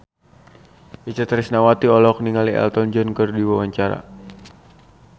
Itje Tresnawati olohok ningali Elton John keur diwawancara